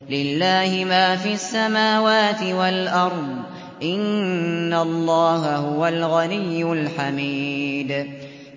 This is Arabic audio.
لِلَّهِ مَا فِي السَّمَاوَاتِ وَالْأَرْضِ ۚ إِنَّ اللَّهَ هُوَ الْغَنِيُّ الْحَمِيدُ